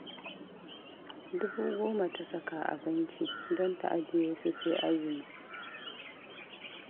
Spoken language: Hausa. Dubu goma ta saka a banki don ta ajiye su sai azumi